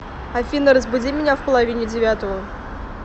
афина разбуди меня в половине девятого